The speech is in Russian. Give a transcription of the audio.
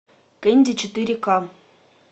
кэнди четыре ка